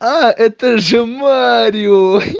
а это же варю